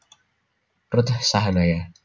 Ruth Sahanaya